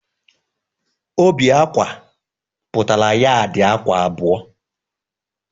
Óbì ákwà pụtara yaadi ákwà abụọ.